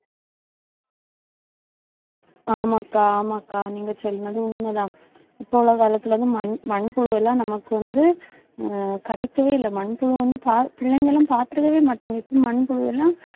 ஆமா அக்கா, ஆமா அக்கா, நீங்க சொன்னது உண்மைதான். இப்ப உள்ள காலத்தில இருந்து மண்~ மண்புழு எல்லாம் நமக்கு வந்து ஆஹ் கிடைக்கவே இல்லை. மண்புழு வந்து, பா~ பிள்ளைங்களும் பார்த்திருக்கவே மாட்டாங்க இப்ப மண்புழு எல்லாம்